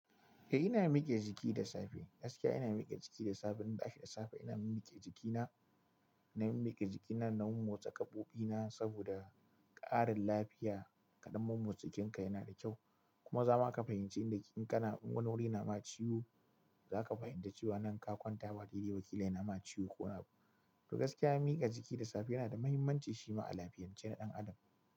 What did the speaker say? Eh ina miƙe jiki da safe. Gaskiya ina miƙe jiki da safe, idan na tashi da safe ina mimmiƙe jikina. Na mimmiƙe jikina na mommotsa gaɓoɓi na saboda ƙarin lafiya Kaɗan mommotsa jikinka yana da kyau, kuma zama ka fahimci inda ke, in kana, in wani wuri na ma ciwo, za ka fahimci cewa nan ka kwanta ba dai-dai ba ƙila yanama ciwo ko wani babu. To gaskiya miƙa jiki da safe yana da mahimmanci shima a lafiyance na ɗan Adam.